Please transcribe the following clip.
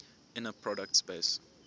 inner product space